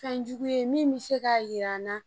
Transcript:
Fɛn jugu ye min bɛ se k'a jira an na